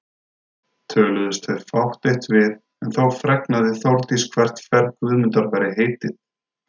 Töluðustu þau fátt eitt við en þó fregnaði Þórdís hvert ferð Guðmundar væri heitið.